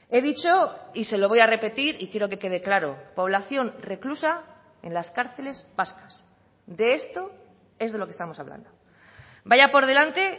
he dicho y se lo voy a repetir y quiero que quede claro población reclusa en las cárceles vascas de esto es de lo que estamos hablando vaya por delante